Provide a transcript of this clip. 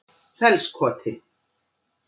Fellskoti